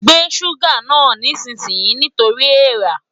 Gbé ṣúgà náà nísinsìnyí nítorí èèra!